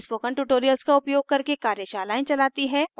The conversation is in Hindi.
spoken tutorials का उपयोग करके कार्यशालाएं चलाती है